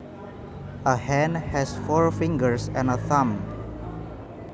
A hand has four fingers and a thumb